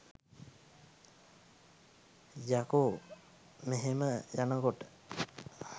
යකෝ මෙහෙම යනකොට